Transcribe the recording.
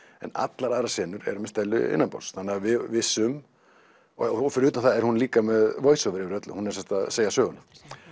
en allar aðrar senur eru með Stellu innanborðs þannig að við vissum og fyrir utan það er hún líka með voiceover yfir öllu hún er að segja söguna